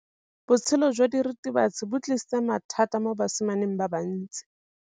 Botshelo jwa diritibatsi ke bo tlisitse mathata mo basimaneng ba bantsi.